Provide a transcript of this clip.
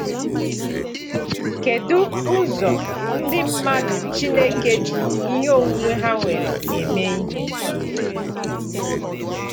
“Kedu ụzọ ndị mmadụ Chineke ji ihe onwunwe ha nwere eme ihe?”